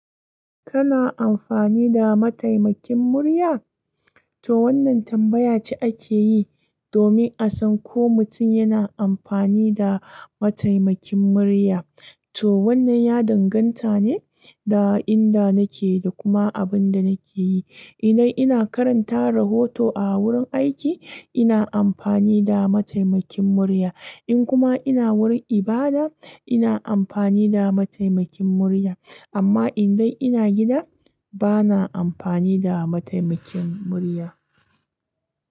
Kana amfani da mataimakin murya? To wannan tambaya ce ake yi domin a san ko mutum yana amfani da mataimakin murya. Toh wannan ya danganta ne da inda nake da kuma abin da nake yi. In nayi ina karanta rahoto a wurin aiki, ina amfani da mataimakin murya. In kuma ina wurin ibada, ina amfani da mataimakin murya. Amma indan ina gida, bana amfani da mataimakin murya.